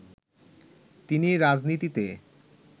তিনি "রাজনীতিতে